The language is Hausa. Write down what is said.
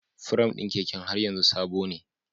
Firam ɗin keken har yanzu sabone.